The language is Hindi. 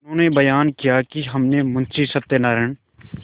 उन्होंने बयान किया कि हमने मुंशी सत्यनारायण